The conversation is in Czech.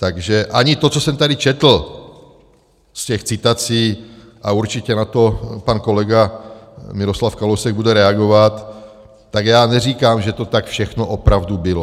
Takže ani to, co jsem tady četl z těch citací, a určitě na to pan kolega Miroslav Kalousek bude reagovat, tak já neříkám, že to tak všechno opravdu bylo.